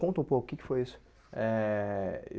Conta um pouco o que que foi isso eh.